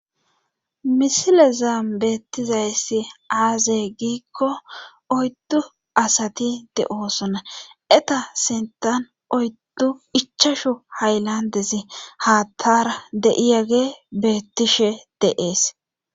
misile zaan beettizayssi aaze giikko oyddu asati de7oosona eta sentan oyddu ichashu haylandesi haatara de7iyage beettishe deees